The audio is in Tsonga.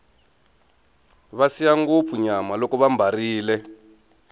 va siya ngopfu nyama loko vambarile